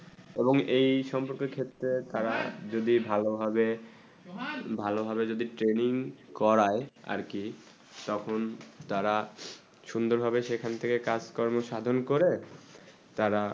এবং এই সোমপুরিকী ক্ষেত্রে তারা যদি ভালো ভাবে ভালো ভাবে যদি training করায় আর কি সোপান তারা সুন্দর ভাবে সেখান থেকে কাজ কর্ম সাধন করে তারা